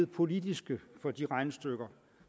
politiske for de regnestykker